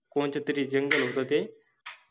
कोनतेतेरि जंगल होते ते,